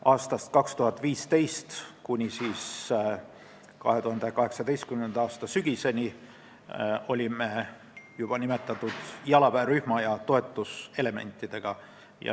Aastast 2015 kuni 2018. aasta sügiseni olime seal esindatud juba nimetatud jalaväerühma ja toetuselementidega.